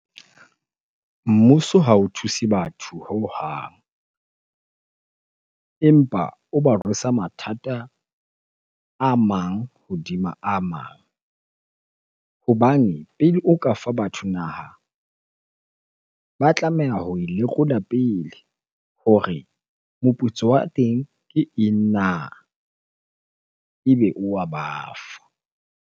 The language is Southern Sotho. Mmuso ha o thuse batho hohang empa o ba rwesa mathata a mang hodima a mang. Hobane pele o ka fa batho naha, ba tlameha ho e lekola pele hore moputso wa teng ke eng na? Ebe o wa ba fa.